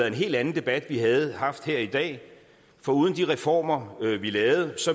en helt anden debat vi havde haft her i dag for uden de reformer vi lavede